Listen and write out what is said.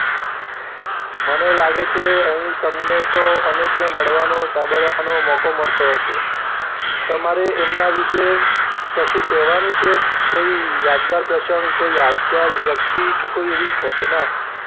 મને લાગે છે અહીં તમને તો દરેકને મળવાનો સાંભળવાનો મોકો મળતો હશે. તમારે એમના વિશે કશું કહેવાનું છે કોઈ યાદગાર પ્રસંગ, કોઈ યાદગાર વ્યક્તિ કે કોઈ એવી ઘટના